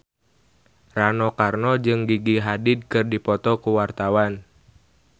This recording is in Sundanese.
Rano Karno jeung Gigi Hadid keur dipoto ku wartawan